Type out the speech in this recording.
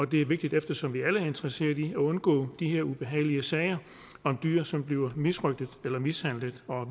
det er vigtigt eftersom vi alle er interesseret i at undgå de her ubehagelige sager om dyr som bliver misrøgtet eller mishandlet og at